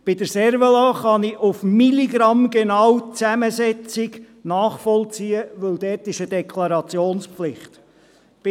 Beim Cervelat kann ich aufs Milligramm genau die Zusammensetzung nachvollziehen, weil dort eine Deklarationspflicht besteht.